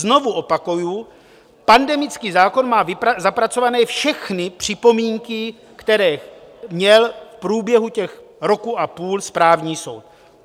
Znovu opakuji, pandemický zákon má zapracovány všechny připomínky, které měl v průběhu toho roku a půl správní soud.